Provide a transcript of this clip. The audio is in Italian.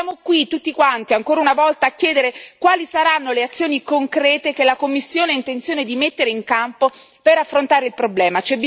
Siamo qui tutti quanti, ancora una volta, a chiedere quali saranno le azioni concrete che la Commissione ha intenzione di mettere in campo per affrontare il problema.